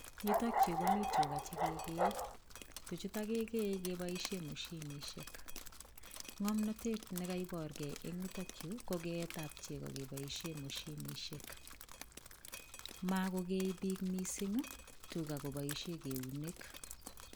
Yutok yu komii tuga chekegeye, tuchutok kegee kepoishe moshinisiek ng'omnatet ne kaiporgei eng' yutok yu ko k'eet ab chego kepoishe moshinisiek makogee piik mising' tuga kopaishe keunek.